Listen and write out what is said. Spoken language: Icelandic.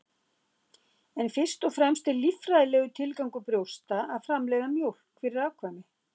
En fyrst og fremst er líffræðilegur tilgangur brjósta að framleiða mjólk fyrir afkvæmi.